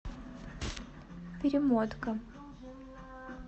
перемотка